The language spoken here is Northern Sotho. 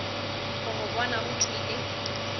go go bona o tšwele